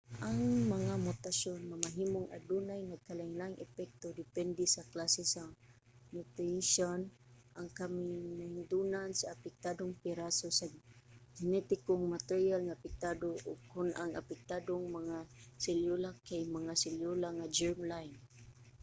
ang mga mutasyon mamahimong adunay nagkalain-laing epekto depende sa klase sa mutation ang kamahinungdanon sa apektadong piraso sa genetikong materyal nga apektado ug kon ang apektadong mga selyula kay mga selyula nga germ-line